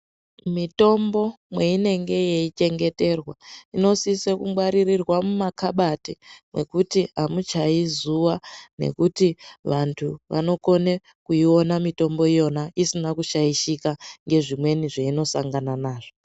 Mitombo mweinenge yeichengeterwa inosiso kungwaririrwa mumakabati nekuti amuchayi zuwa nekuti vantu vanokone kuiona mitombo iyona isina kushaishika ngezvimweni zveinosangana nazvo.